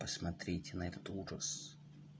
смотреть